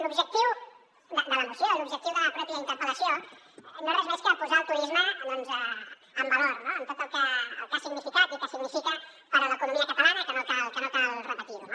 l’objectiu de la moció l’objectiu de la pròpia interpel·lació no és res més que posar el turisme en valor no amb tot el que ha significat i que significa per a l’economia catalana que no cal repetir ho